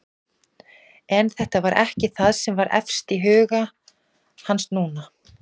En þetta var ekki það sem var efst í huga hans núna.